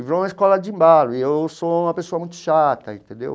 E virou uma escola de mala, e eu sou uma pessoa muito chata, entendeu?